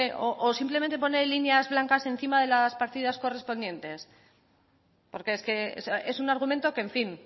o simplemente pone líneas blancas encima de las partidas correspondientes porque es que es un argumento que en fin